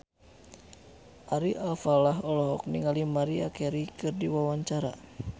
Ari Alfalah olohok ningali Maria Carey keur diwawancara